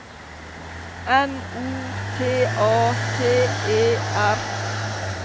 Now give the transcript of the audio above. N O T A T E R